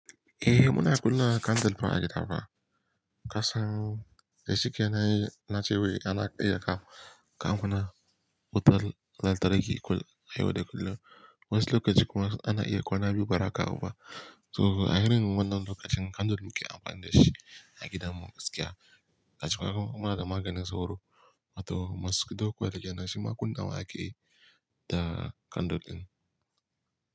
Eh muna kunna kendir f a a gida fa. Kasan da shike na yi, na ce wai ana ɗaya kaf, kaf muna wutar lantarki kul ayau da kullum. Wasu lokaci kuma ana iya kwana biyu bara kawo ba. So a irin wannan lokacin candle muke amfani da shi a gidan mu gaskiya. Gashi kuma muna da maganin sauro, wato mosquito coil shima kunnawa a ake yi da candle din.